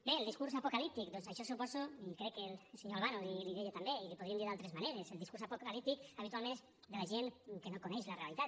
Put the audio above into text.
bé el discurs apocalíptic doncs això suposo crec que el senyor albano li ho deia també i li ho podríem dir d’altres maneres el discurs apocalíptic habitualment és de la gent que no coneix la realitat